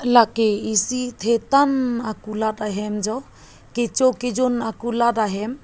lake isi thetan akulat ahem jo kecho kejun akulat ahem.